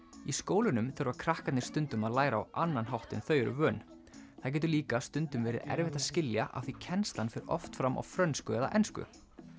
í skólunum þurfa krakkarnir stundum að læra á annan hátt en þau eru vön það getur líka stundum verið erfitt að skilja af því kennslan fer oft fram á frönsku eða ensku